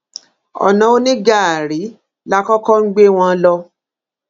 ọnà onígàárí la kọkọ ń gbé wọn lọ